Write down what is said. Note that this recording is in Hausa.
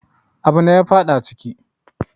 Abune ya faɗa ciki